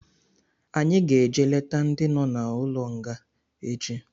Anyị ga-eje leta ndị nọ n'ụlọ nga echi